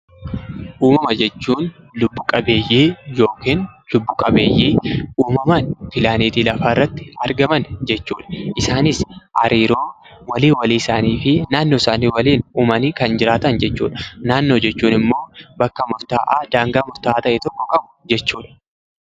Uumama jechuun lubbu qabeeyyii yookaan lubbu dhabeeyyii uumaamaan pilaaneetii lafaa irratti argaman jechuudha. Isaanis hariiroo walii walii isaaniifi naannoo isaanii waliin uumanii kan jiraatan jechuudha. Naannoo jechuun ammoo bakka murtaa'aa daangaa murtaa'aa ta'e tokko qabu jechuudha.